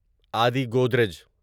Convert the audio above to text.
Adi Godrej